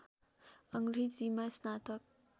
अङ्ग्रेजीमा स्नातक